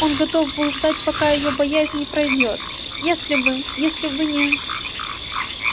он готов был ждать пока её боязнь не пройдёт если бы если бы не